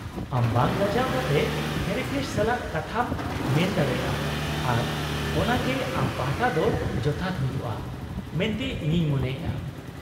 -ᱟᱢ ᱵᱟᱝ ᱞᱟᱡᱟᱣ ᱠᱟᱛᱮ ᱛᱷᱮᱨᱟᱯᱤᱥᱴ ᱥᱟᱞᱟᱜ ᱠᱟᱛᱷᱟᱢ ᱢᱮᱱ ᱫᱟᱲᱮᱭᱟᱜᱼᱟ ᱟᱨ ᱚᱱᱟᱜᱮ ᱟᱢ ᱯᱟᱦᱴᱟ ᱫᱚ ᱡᱚᱛᱷᱟᱛ ᱦᱩᱭᱩᱜᱼᱟ ᱢᱮᱱᱛᱮ ᱤᱧᱤᱧ ᱢᱚᱱᱮᱭᱟᱜ ᱾